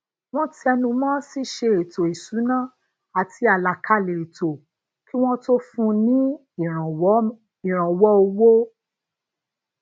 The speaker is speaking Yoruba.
wón tẹnu mó ṣíṣe ètò isuna ati alakale eto kí wón tó fún un ní ìrànwó owo